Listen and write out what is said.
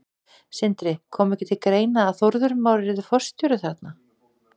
Sindri: Kom ekki til greina að Þórður Már yrði forstjóri þarna?